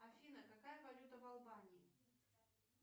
афина какая валюта в албании